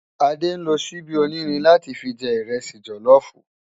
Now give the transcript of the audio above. Ade nló ṣìbi ónírìn látì fi jè ìrẹsì jòlòfú